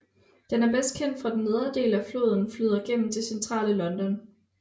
Den er bedst kendt fordi den nedre del af floden flyder gennem det Centrale London